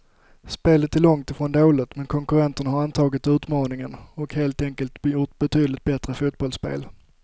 Spelet är långt ifrån dåligt, men konkurrenterna har antagit utmaningen och helt enkelt gjort betydligt bättre fotbollsspel.